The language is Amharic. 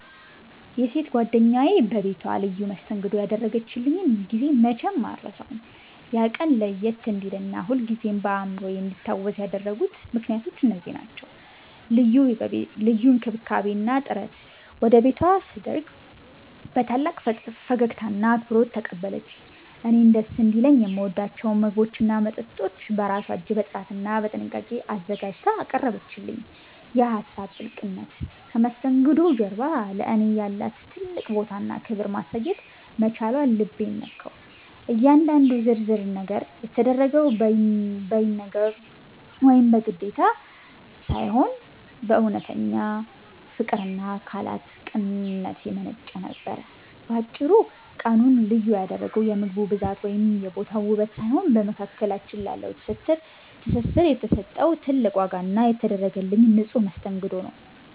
የሴት ጓደኛዬ በቤቷ ልዩ መስተንግዶ ያደረገችልኝን ጊዜ መቼም አልረሳውም። ያ ቀን ለየት እንዲልና ሁልጊዜም በአእምሮዬ እንዲታወስ ያደረጉት ምክንያቶች እነዚህ ናቸው፦ ልዩ እንክብካቤ እና ጥረት፦ ወደ ቤቷ ስደርግ በታላቅ ፈገግታና አክብሮት ተቀበለችኝ። እኔን ደስ እንዲለኝ የምወዳቸውን ምግቦችና መጠጦች በራሷ እጅ በጥራትና በጥንቃቄ አዘጋጅታ አቀረበችልኝ። የሀሳብ ጥልቅነት፦ ከመስተንግዶው ጀርባ ለእኔ ያላትን ትልቅ ቦታና ክብር ማሳየት መቻሏ ልቤን ነካው። እያንዳንዱ ዝርዝር ነገር የተደረገው በይነገብ ወይም በግዴታ ሳይሆን፣ ከእውነተኛ ፍቅርና ካላት ቅንነት የመነጨ ነበር። ባጭሩ፤ ቀኑን ልዩ ያደረገው የምግቡ መብዛት ወይም የቦታው ውበት ሳይሆን፣ በመካከላችን ላለው ትስስር የተሰጠው ትልቅ ዋጋ እና የተደረገልኝ ንጹሕ መስተንግዶ ነው።